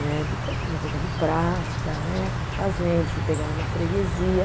Né, depois a gente vai pegando prática né, fui fazendo, fui pegando uma freguesia.